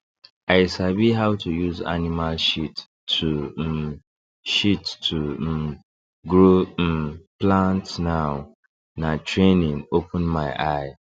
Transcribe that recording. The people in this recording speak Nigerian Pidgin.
i sabi how to use animal shit to um shit to um grow um plant now na training open my eye